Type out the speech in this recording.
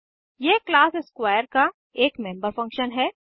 यह class square का एक मेम्बर फंक्शन है